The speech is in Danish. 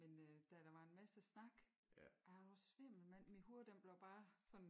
Men øh da der var en masse snak er du svimmel mand min hoved den blev bare sådan